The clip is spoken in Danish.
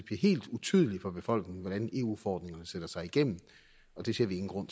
helt utydeligt for befolkningen hvordan eu forordninger sætter sig igennem og det ser vi ingen grund